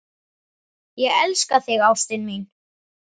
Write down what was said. Ég elska þig ástin mín.